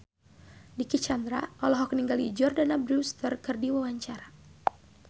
Dicky Chandra olohok ningali Jordana Brewster keur diwawancara